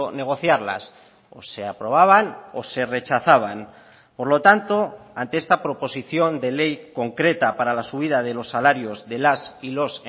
negociarlas o se aprobaban o se rechazaban por lo tanto ante esta proposición de ley concreta para la subida de los salarios de las y los